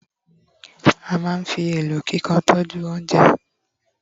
a ma n fi elo kikan tọju ounjẹ